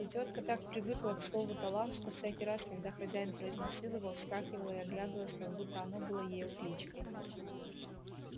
и тётка так привыкла к слову талант что всякий раз когда хозяин произносил его вскакивала и оглядывалась как будто оно было её кличкой